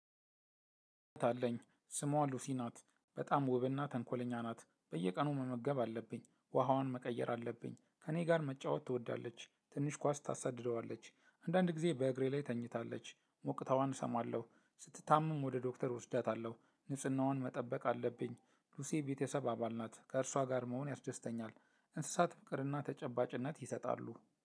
አለኝ ስሟ ሉሲ ናት በጣም ውብና ተንኮለኛ ናት። በየቀኑ መመገብ አለብኝ ውሃዋን መቀየር አለብኝ። ከእኔ ጋር መጫወት ትወዳለች ትንሽ ኳስ ታሳድደዋለች። አንዳንድ ጊዜ በእግሬ ላይ ተኝታለች። ሞቅታዋን እሰማለሁ ስትታመም ወደ ዶክተር እወስዳታለሁ። ንጽህናውን መጠበቅ አለብኝ። ሉሲ ቤተሰብ አባል ናት ከእርሷ ጋር መሆን ያስደስተኛል። እንስሳት ፍቅርና ተጨባጭነት ይሰጣሉ